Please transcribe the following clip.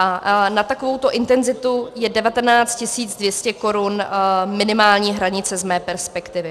A na takovouto intenzitu je 19 200 korun minimální hranice z mé perspektivy.